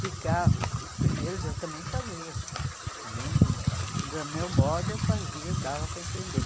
De carros, os primeiros eu também fazia, também de do meu modo eu fazia e dava para entender.